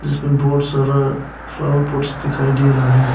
इसमें बहुत सारा फ्लावर पॉट्स दिखाई दे रहा है।